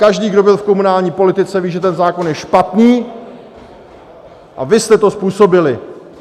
Každý, kdo byl v komunální politice, ví, že ten zákon je špatný, a vy jste to způsobili!